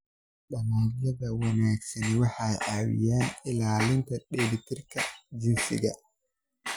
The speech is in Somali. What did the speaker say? Dalagyada wanaagsani waxay caawiyaan ilaalinta dheelitirka jinsiga.